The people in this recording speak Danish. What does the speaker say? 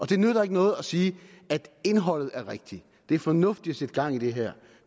det nytter ikke noget at sige indholdet er rigtigt det er fornuftigt at sætte gang i det her